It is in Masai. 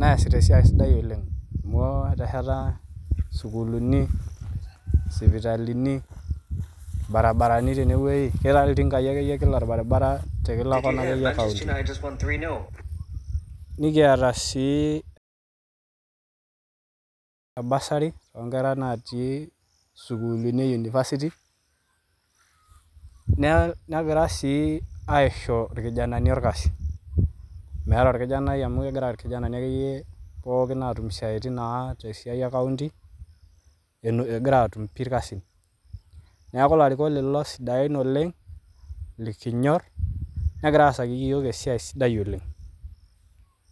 neasita siai sidai oleng' amu eteshata sukuulini, sipitalini, lbaribarani tenie ng'oji ketii ltinkai ake yie kila lbarrbara te kila corner ake yie enkaunti. Nikiata sii bursary too nkera naatii sukuulini e university negira sii aisho orkijanani orkasi. Meatae orkijanai amu kegira orkijanani ake yie pooki aatum siaitin te siai enkaunti egora aatum pii elkasin. Naaku larikok lolo sidain oleng' likinyorr negira aasaki yuok esiai sidai oleng'.